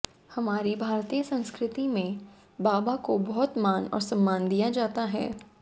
हमारी भारतीय संस्कृति में बाबा को बहुत मान और सम्मान दिया जाता है